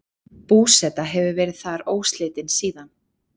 Búseta hefur verið þar óslitin síðan.